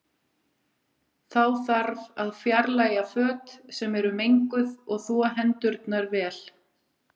Þá þarf að fjarlæga föt sem eru menguð og þvo hendurnar vel.